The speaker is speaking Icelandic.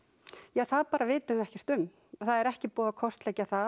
það bara vitum við ekkert um það er ekki búið að kortleggja það